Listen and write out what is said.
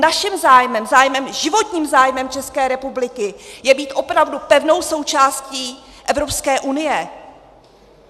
Naším zájmem, životním zájmem České republiky je být opravdu pevnou částí Evropské unie!